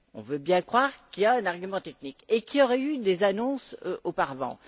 On veut bien croire qu'il y a un argument technique et qu'il y aurait eu des annonces auparavant.